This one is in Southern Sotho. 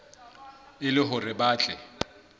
e le hore ba tle